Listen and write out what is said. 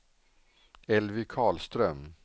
Elvy Karlström